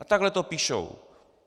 A takhle to píšou.